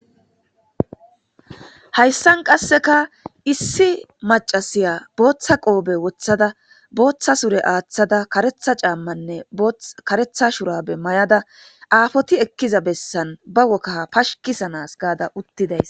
Hassan qaasekka issi maccasiya boththa qoppe woththada booththa sure aththada kareththa caamane kareththa shurabbe mayada affoti ekkiza bessan be wokaha pashshikisana gaada uttidayssa..